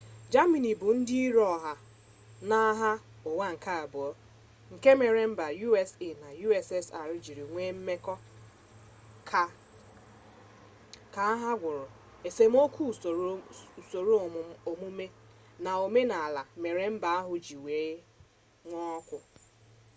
jamini bụ ndị iro ọha n'agha ụwa nke abụọ nke mere mba usa na ussr ji nwee mmekọ ka agha gwụrụ esemokwu usoro omume na omenala mere mba ndị ahụ ji nwee okwu